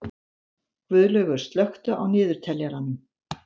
Guðlaugur, slökktu á niðurteljaranum.